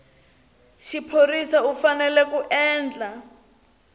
xiphorisa u fanele ku endla